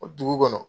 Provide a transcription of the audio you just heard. O dugu kɔnɔ